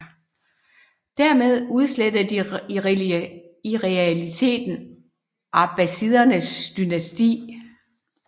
Dermed udslettede de i realiteten abbasidernes dynasti